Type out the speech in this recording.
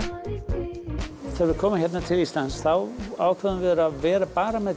við komum hingað til Íslands þá ákváðum við að vera bara með